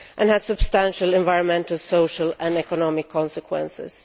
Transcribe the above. They also have substantial environmental, social and economic consequences.